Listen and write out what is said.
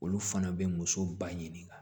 Olu fana bɛ muso ba ɲini ka